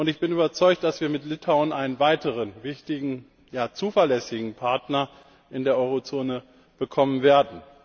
Ich bin überzeugt, dass wir mit Litauen einen weiteren wichtigen, ja zuverlässigen Partner in der Euro Zone bekommen werden.